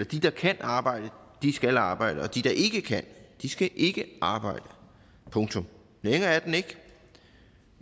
de der kan arbejde skal arbejde og de der ikke kan skal ikke arbejde punktum længere er den ikke